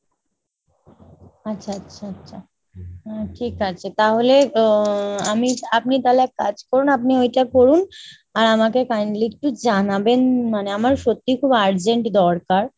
আচ্ছা আচ্ছা আচ্ছা। ঠিক আছে। তাহলে উম আমি আপনি তাহলে এক কাজ করুন আপনি ওইটা করুন। আর আমাকে kindly একটু জানাবেন মানে আমার সত্যি খুব urgent দরকার।